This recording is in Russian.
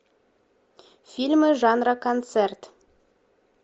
фильмы жанра концерт